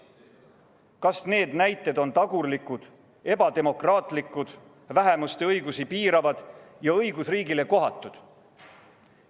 Kas need näited on tagurlikud, ebademokraatlikud, vähemuste õigusi piiravad ja õigusriigile kohatud?